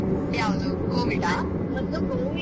ಯಾವುದು Covid